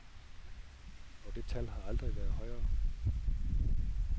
Og det tal har aldrig været højere.